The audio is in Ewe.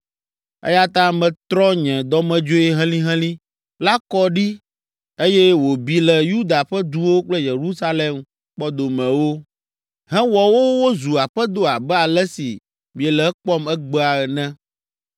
eya ta metrɔ nye dɔmedzoe helĩhelĩ la kɔ ɖi eye wòbi le Yuda ƒe duwo kple Yerusalem kpɔdomewo, hewɔ wo wozu aƒedo abe ale si miele ekpɔm egbea ene.